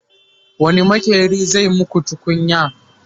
wani maƙeri zai maku tukunya?